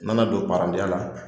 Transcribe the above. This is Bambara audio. N nana don parantiya la